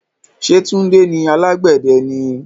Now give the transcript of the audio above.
Ṣé tunde ni alàgbẹ̀dẹ ni?